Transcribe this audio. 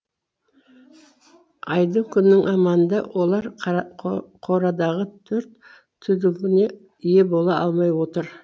айдың күннің аманында олар қорадағы төрт түлігіне ие бола алмай отыр